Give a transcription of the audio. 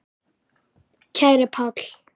Kæri Páll.